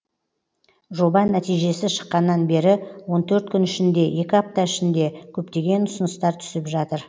жоба нәтижесі шыққаннан бері он төрт күн ішінде екі апта ішінде көптеген ұсыныстар түсіп жатыр